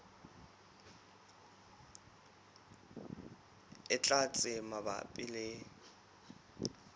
e tlang tse mabapi le